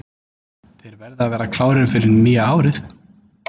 Þeir verða að vera klárir fyrir nýja árið.